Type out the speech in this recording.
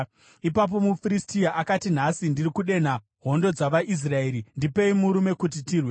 Ipapo muFiristia akati, “Nhasi ndiri kudenha hondo dzavaIsraeri! Ndipei murume kuti tirwe.”